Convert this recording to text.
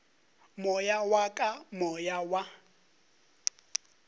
moya wa ka moya wa